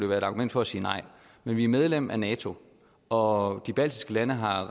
være et argument for at sige nej men vi er medlem af nato og de baltiske lande har